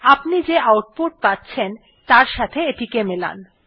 আপনি যে আউটপুট পাচ্ছেন তার সাথে এটিকে মেলান